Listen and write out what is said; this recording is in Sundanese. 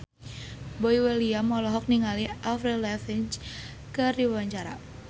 Boy William olohok ningali Avril Lavigne keur diwawancara